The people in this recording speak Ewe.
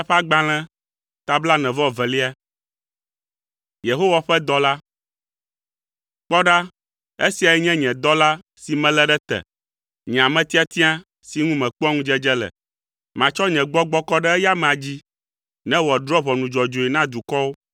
“Kpɔ ɖa esiae nye nye dɔla si melé ɖe te, nye ame tiatia si ŋu mekpɔa ŋudzedze le; matsɔ nye gbɔgbɔ kɔ ɖe eya amea dzi ne wòadrɔ̃ ʋɔnu dzɔdzɔe na dukɔwo.